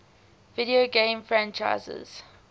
video game franchises